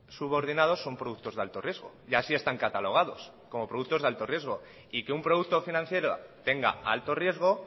subordinados son productos de alto riesgo y así están catalogados como productos de alto riesgo y que un producto financiero tenga alto riesgo